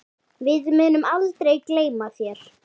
Við munum aldrei gleyma þér.